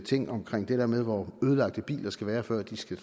ting omkring det der med hvor ødelagt en bil skal være før den skal